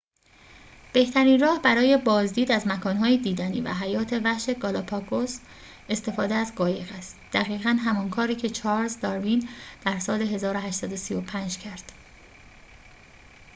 بهترین راه برای بازدید از مکان‌های دیدنی و حیات وحش گالاپاگوس استفاده از قایق است دقیقاً همان کاری که چارلز داروین در سال ۱۸۳۵ کرد